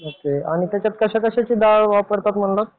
आणि त्याच्यात कशाकशाची डाळ वापरतात म्हणलं?